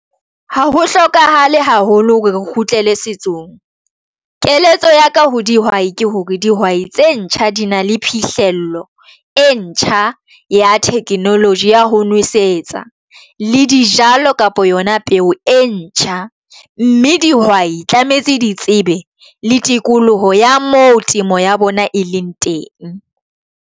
Ha ho hlokahale haholo hore re kgutlele setsong. Keletso ya ka ho dihwai ke hore dihwai tse ntjha di na le phihlello e ntjha ya technology ya ho nwesetsa le dijalo kapa yona peo e ntjha, mme dihwai tlametse di tsebe le tikoloho ya mo temo ya bona e leng teng.